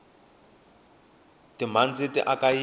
timhandzi ti aka yindlu